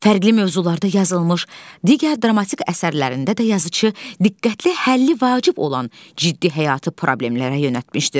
Fərqli mövzularda yazılmış digər dramatik əsərlərində də yazıçı diqqətli, həlli vacib olan ciddi həyatı problemlərə yönəltmişdir.